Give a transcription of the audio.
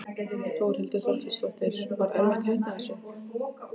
Þórhildur Þorkelsdóttir: Var erfitt að hætta þessu?